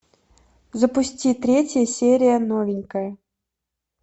запусти третья серия новенькая